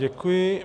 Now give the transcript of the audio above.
Děkuji.